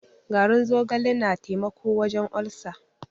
Garin zogale na taimako wajen olcer.